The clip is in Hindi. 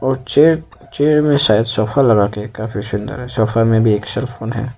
चे चेयर में शायद सोफा लगा के काफी सुंदर सोफा में भी एक सेलफोन है।